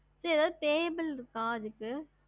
ஹம்